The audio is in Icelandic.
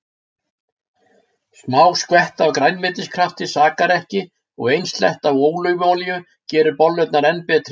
Smá skvetta af grænmetiskrafti sakar ekki og ein sletta af ólífuolíu gerir bollurnar enn betri.